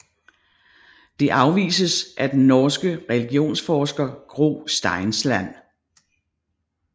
Det afvises af den norske religionsforsker Gro Steinsland